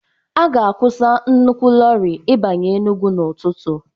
A ga-akwụsị nnukwu loori ịbanye Enugu n'ụtụtụ